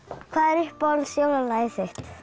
hvað er uppáhalds jólalagið þitt